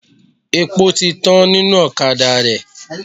Epo ti tán nínú ọ̀kadà rẹ.